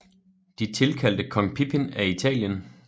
De tilkaldte kong Pippin af Italien